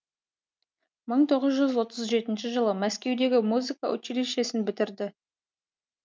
мың тоғыз отыз жеті жылы мәскеудегі музыка училищесін бітірді